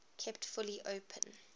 kept fully open